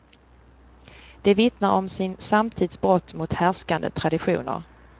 De vittnar om sin samtids brott mot härskande traditioner.